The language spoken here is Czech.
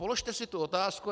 Položte si tu otázku.